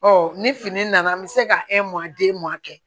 ni fini nana n bɛ se ka kɛ